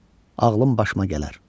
Ağlım başıma gələr.